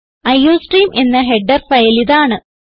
iostream എന്ന header ഫയലിതാണ്